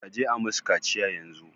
Kaji a musu kaciya yanzu